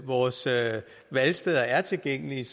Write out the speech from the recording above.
vores valgsteder er tilgængelige